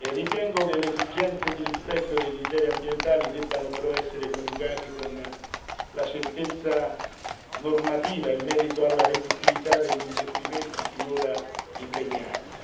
Ritengo che le esigenze di rispetto dei criteri ambientali debbano però essere coniugate con la certezza normativa in merito alla redditività degli investimenti finora impegnati.